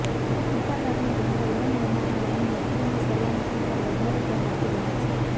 મોટાભાગની બેન્કો લોન લેનારાઓની નોકરીની સલામતી પર વધારે ધ્યાન આપી રહી છે